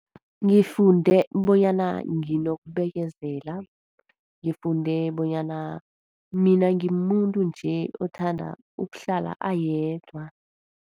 Ngifunde bonyana nginokubekezela. Ngifunde bonyana mina ngimuntu nje othanda ukuhlala ayedwa.